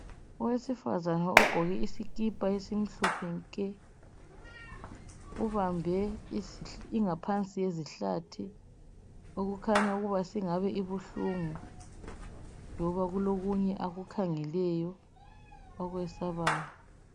Owezifazana ogqoke isikipa esimhlophe nke ubambe ingaphansi yezihlathi okukhanya ukuba ingabeibuhlungu loba kulokunye akukhangeleyo akwesabayo.